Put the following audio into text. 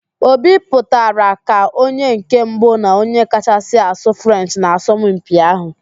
Obi pụtara ka onye nke mbụ na onye kachasị asụ Frenchị n'asọmpi ahụ